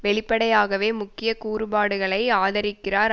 வெளிப்படையாகவே முக்கிய கூறுபாடுகளை ஆதரிக்கிறார்